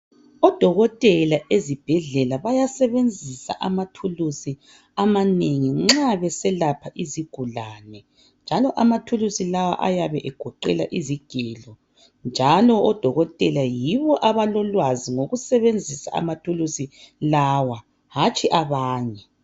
Odokotela ezibhedlela bayasebenzisa amathulusi amanengi nxa beselapha izigulane njalo amathulusi lawo ayabe egoqela izigelo njalo odokotela yibo abalolwazi ngokusebenzisa amathulusi lawa hatshi abanye.